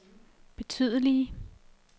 betydelige